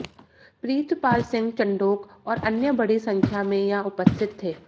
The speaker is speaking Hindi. प्रीतपाल सिंह चंढोक और अन्य बड़ी सं या में उपस्थित थे